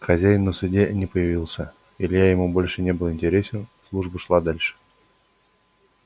хазяин на суде не появился илья ему больше не был интересен служба шла дальше